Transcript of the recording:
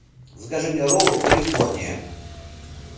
закажи мне роллы калифорния